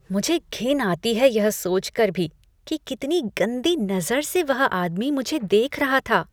मुझे घिन आती है यह सोच कर भी कि कितनी गंदी नज़र से वह आदमी मुझे देख रहा था।